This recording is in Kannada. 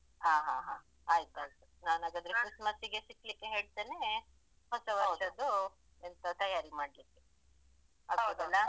ಹಾ ಹಾ ಹಾ ಆಯ್ತು ನಾನು ಹಾಗಾದ್ರೆ ಕ್ರಿಸ್ಮಸ್ ಗೆ ಸಿಗ್ಲಿಕ್ಕೆ ಹೇಳ್ತೇನೆ ಹೊಸವರ್ಷದ್ದು ಎಂತ ತಯಾರಿ ಮಾಡ್ಲಿಕ್ಕೆ ಆಗ್ಬೋದಲ್ಲ.